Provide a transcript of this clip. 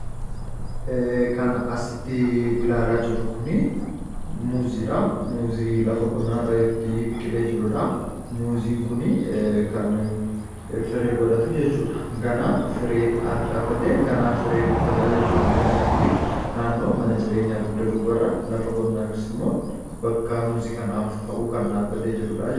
Inni asitti ilaalaa jirru kuni muuziidha. Muuzii lafa qonnaa irratti biqilee jirudha. Muuziin kun kan firee godhatu jechuudha. Ganaa firii harcaafatee firii buufata jechuudha muuziin kuni. Naannoo mana jireenyaa dugda duuba lafa qonnaa yookis ammoo bakka muuzii kanaaf ta'u kan dhaabate jirudha.